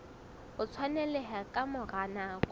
o tshwaneleha ka mora nako